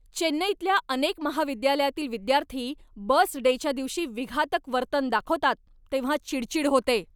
चेन्नईतल्या अनेक महाविद्यालयातील विद्यार्थी बस डेच्या दिवशी विघातक वर्तन दाखवतात तेव्हा चिडचिड होते.